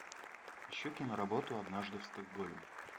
ищу киноработу однажды в стокгольме